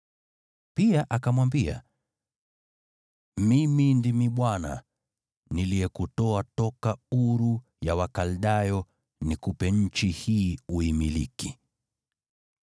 Pia akamwambia, “Mimi ndimi Bwana , niliyekutoa toka Uru ya Wakaldayo nikupe nchi hii uimiliki.”